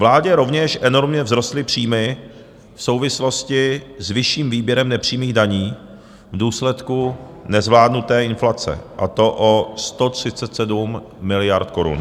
Vládě rovněž enormně vzrostly příjmy v souvislosti s vyšším výběrem nepřímých daní v důsledku nezvládnuté inflace, a to o 137 miliard korun.